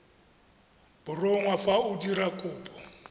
borongwa fa o dira kopo